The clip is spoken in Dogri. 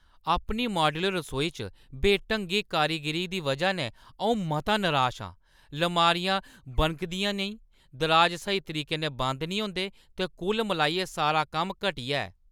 अपनी माड्‌यूलर रसोई च बेढंगी कारीगरी दी वʼजा नै अऊं मता नराश आं । लमारियां बनकी दियां नेईं, दराज स्हेई तरीके नै बंद निं होंदे ते कुल मलाइयै सारा कम्म घटिया ऐ।